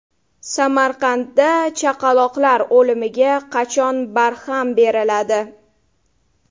Samarqandda chaqaloqlar o‘limiga qachon barham beriladi?.